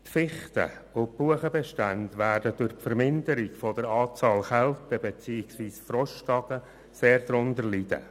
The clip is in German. Die Fichten- und Buchenbestände werden durch die Verminderung der Anzahl der Kälte- beziehungsweise Frosttage sehr darunter leiden.